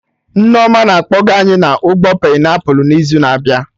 Nneoma na-akpọga anyị na ugbo painiapụl n'izu na-abịa